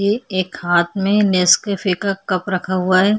ये एक हाथ में नेस्कैफे का कप रखा हुआ है।